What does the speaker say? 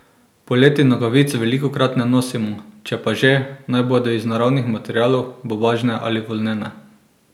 Poleti nogavic velikokrat ne nosimo, če pa že, naj bodo iz naravnih materialov, bombažne ali volnene.